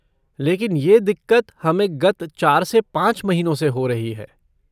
लेकिन ये दिक़्क़त हमें गत चार से पाँच महीनों से हो रही है।